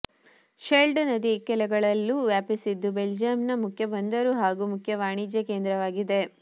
shelled ನದಿಯ ಇಕ್ಕೆಲಗಳಲ್ಲೂ ವ್ಯಾಪಿಸಿದ್ದು ಬೆಲ್ಜಿಯಂನ ಮುಖ್ಯ ಬಂದರು ಹಾಗೂ ಮುಖ್ಯ ವಾಣಿಜ್ಯ ಕೇಂದ್ರವಾಗಿದೆ